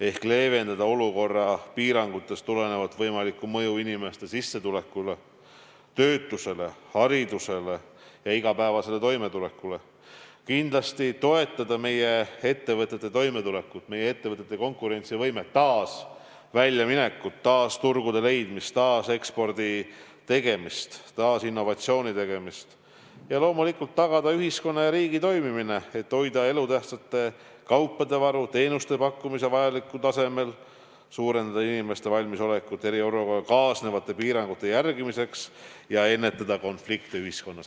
Ehk kindlasti tuleb leevendada olukorra piirangutest tulenevat võimalikku mõju inimeste sissetulekule, töötusele, haridusele ja igapäevasele toimetulekule; toetada meie ettevõtete toimetulekut, konkurentsivõimet ja taas väljaminekut, turgude leidmist, eksporti ja innovatsiooni; loomulikult tagada ühiskonna ja riigi toimimine, et hoida elutähtsate kaupade varu ja teenuste pakkumine vajalikul tasemel ning suurendada inimeste valmisolekut eriolukorraga kaasnevate piirangute järgimiseks; samuti ennetada konflikte ühiskonnas.